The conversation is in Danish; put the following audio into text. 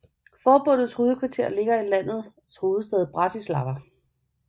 Forbundets hovedkvarter ligger i landets hovedstad Bratislava